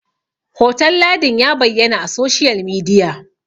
hoton ladin ya bayyana a soshiyal midiya!